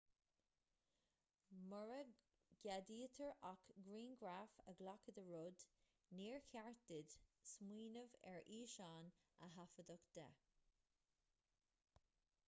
mura gceadaítear ach grianghraf a ghlacadh de rud níor cheart duit smaoineamh ar fhíseán a thaifeadadh de